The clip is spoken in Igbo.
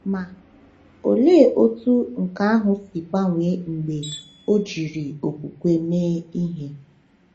Ma, olee otú nke ahụ si gbanwee mgbe ọ jiri okwukwe mee ihe!